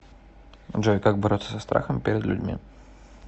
джой как бороться со страхом перед людьми